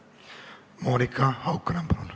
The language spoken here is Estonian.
Monika Haukanõmm, palun!